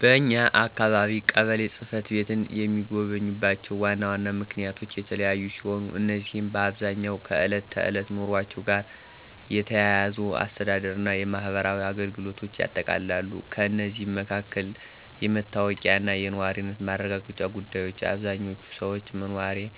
በኛ አካባቢ ቀበሌ ጽ/ቤትን የሚጎበኙባቸው ዋና ዋና ምክንያቶች የተለያዩ ሲሆኑ፣ እነዚህም በአብዛኛው ከዕለት ተዕለት ኑሯቸው ጋር የተያያዙ የአስተዳደር እና የማህበራዊ አገልግሎቶችን ያጠቃልላሉ። ከእነዚህም መካከል: * የመታወቂያ እና የነዋሪነት ማረጋገጫ ጉዳዮች: አብዛኛዎቹ ሰዎች የመኖሪያ